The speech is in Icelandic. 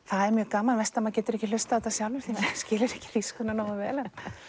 það er mjög gaman verst að maður getur ekki hlustað á þetta sjálfur því maður skilur ekki þýskuna nógu vel